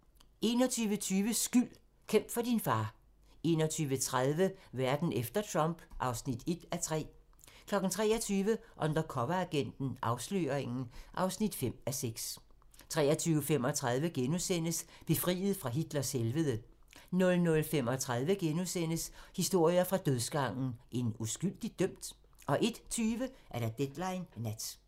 21:20: Skyld - Kæmp for din far 21:30: Verden efter Trump (1:3) 23:00: Undercoveragenten - Afsløringen (5:6) 23:35: Befriet fra Hitlers helvede * 00:35: Historier fra dødsgangen - En uskyldigt dømt? * 01:20: Deadline Nat